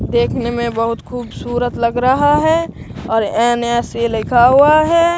देखने में बहुत खूबसूरत लग रहा है और एन_एस ये लिखा हुआ है।